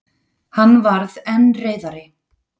Hann varð enn reiðari.